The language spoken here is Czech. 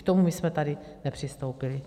K tomu my jsme tady nepřistoupili.